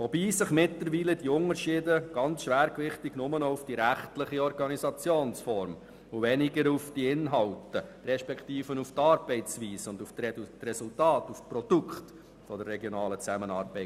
Mittlerweile konzentrieren sich die Unterschiede schwergewichtig auf die rechtliche Organisationsform und weniger auf die Arbeitsweise und die Ergebnisse der regionalen Zusammenarbeit.